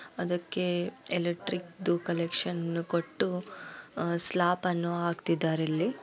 ಅದಕ್ಕೆ ಎಲೆಕ್ಟ್ರಿಕದು ಕಲೆಕ್ಷನ್ ಅನ್ನು ಕೊಟ್ಟು ಸ್ಲಾಪ್ ಅನ್ನು ಹಾಕ್ತಾ ಇದ್ದಾರೆ ಇಲ್ಲಿ.